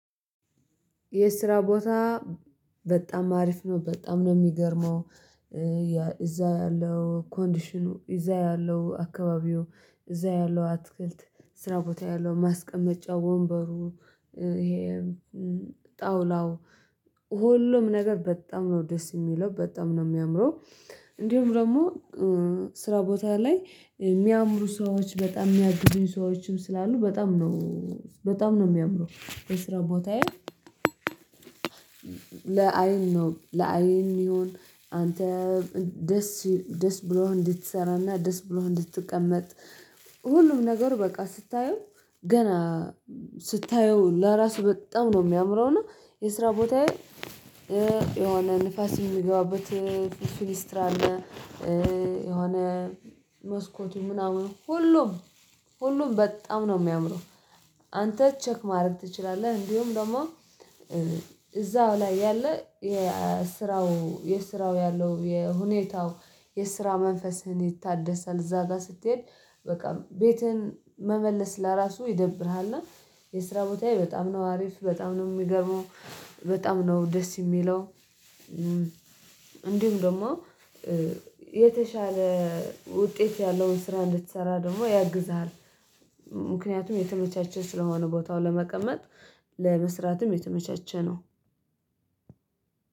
የስራ ቦታ በጣም አሪፍ ነው በጣም ነው የሚገርመው እዛ ያለው ኮንዲሽኑ እዛ ያለው አካባቢው እዛ ያለው አትክልት ስራ ቦታ ያለው ማስቀመጫ ወንበሩ ጣውላው ሁሉም ነገር በጣም ነው ደስ የሚለው በጣም ነው የሚያምረው። እንዲሁም ደግሞ ስራ ቦታ ላይ የሚያምሩ ሰዎች በጣም የሚያግዙኝ ሰዎችም ስላሉ በጣም ነው በጣም ነው የሚያምረው። የስራ ቦታዬ ለአይን ነው ለአይን የሚሆን አንተ ደስ ደስ ብሎህ እንድትሰራና ደስ ብሎህ እንድትቀመጥ። ሁሉም ነገር በቃ ስታየው ገና ስታየው ለራሱ በጣም ነው የሚያምረው ነው። የስራ ቦታዬ የሆነ ንፋስ የሚገባበት ቬንትሌተር አለ። የሆነ መስኮቱ ምናምን ሁሉም ሁሉም በጣም ነው የሚያምረው። አንተ ቼክ ማድረግ ትችላለህ። እንዲሁም ደግሞ እዛው ላይ ያለ የስራው የስራው ያለው የሁኔታው የስራ መንፈስህን ይታደሳል። እዛ ጋር ስትሄድ በቃ ቤትህን መመለስ ለራሱ ይደብርሃል። እና የስራ ቦታዬ በጣም ነው አሪፍ በጣም ነው የሚገርመው። በጣም ነው ደስ የሚለው። እንዲሁም ደግሞ የተሻለ ውጤት ያለውን ስራ እንድትሰራ ደግሞ ያግዝሀል። ምክንያቱም የተመቻቸ ስለሆነ ቦታው ለመቀመጥ ለመስራትም የተመቻቸ ነው።